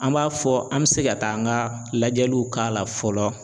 An b'a fɔ an bɛ se ka taa an ka lajɛliw k'a la fɔlɔ.